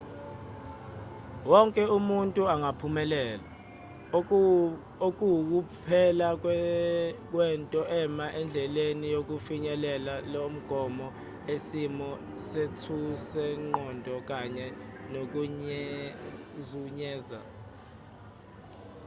wonke umuntu angaphumelela okuwukuphela kwento ema endleleni yokufinyelela lo mgomo isimo sethusenqondo kanye nokuzenyeza